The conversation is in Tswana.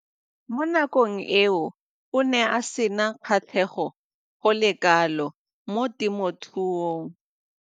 Mo nakong eo o ne a sena kgatlhego go le kalo mo temothuong.